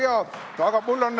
Väga hea!